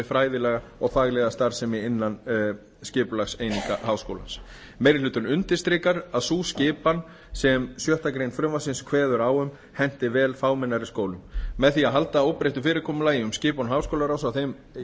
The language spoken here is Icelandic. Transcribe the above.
fræðilega og faglega starfsemi innan skipulagseininga háskólans meiri hlutinn undirstrikar að sú skipan sem sjöttu greinar frumvarpsins kveður á um henti vel fámennari skólum með því að halda óbreyttu fyrirkomulagi um skipan háskólaráðs í